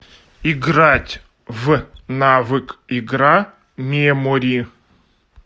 играть в навык игра мемори